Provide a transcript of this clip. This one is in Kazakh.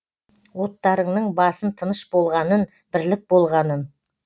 оттарыңның басын тыныш болғанын бірлік болғанын